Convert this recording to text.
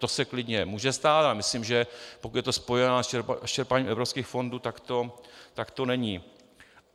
To se klidně může stát a myslím, že pokud je to spojováno s čerpáním evropských fondů, tak to není.